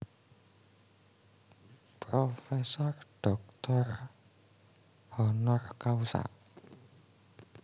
Prof Dr Hc